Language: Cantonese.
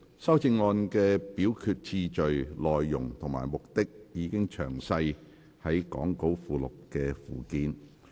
修正案的表決次序、內容及目的，已詳列於講稿附錄的附件。